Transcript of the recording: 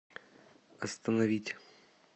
остановить